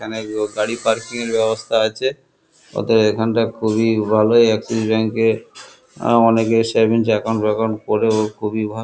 এখানে গো গাড়ি পার্কিং -এর ব্যবস্থা আছে ওদের এখানটা খুবই ভালো এক্সিস ব্যাঙ্ক -এ অনেকে সেভিংস একাউন্ট ফাঁকাওন্ট করে খুবই ভা--